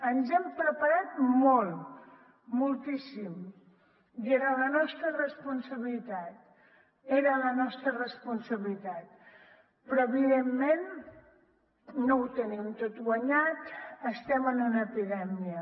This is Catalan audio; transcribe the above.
ens hem preparat molt moltíssim i era la nostra responsabilitat era la nostra responsabilitat però evidentment no ho tenim tot guanyat estem en una epidèmia